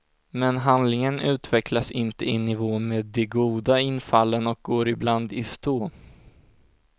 Men handlingen utvecklas inte i nivå med de goda infallen och går ibland i stå.